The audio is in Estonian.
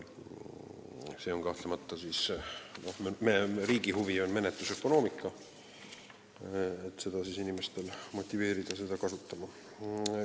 Riigi huvi on kahtlemata menetlusökonoomika, inimesi püütakse motiveerida kiirmenetlust kasutama.